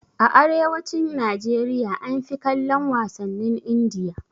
A arewacin Najeriya an fi kallon wasannin Indiya